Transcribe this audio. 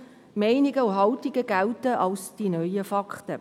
Meinungen und Haltungen gelten als die neuen Fakten.